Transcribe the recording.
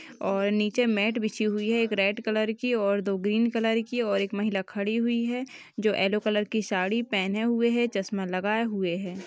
और नीचे मैट बिछी हुई है एक रेड कलर की और दो ग्रीन कलर की और एक महिला खड़ी हुई हैं जो यैलो कलर साड़ी पहने हुई है चस्मा लगाए हुए है ।